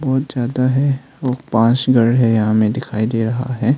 बहुत ज्यादा है व पांच घर है हमें दिखाई दे रहा है।